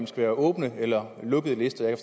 skal være åbne eller lukkede lister jeg